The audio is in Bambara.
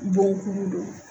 Bon kuru don.